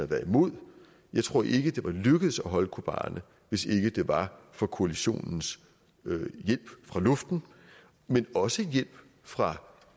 været imod jeg tror ikke det var lykkedes at holde kobani hvis ikke det var for koalitionens hjælp fra luften men også hjælp fra